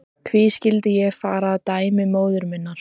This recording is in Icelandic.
Hví skyldi ég fara að dæmi móður minnar?